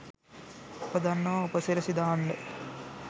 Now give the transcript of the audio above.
අප දන්නවා උප සිරැසි දාන්න